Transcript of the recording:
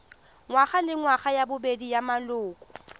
ngwagalengwaga ya bobedi ya maloko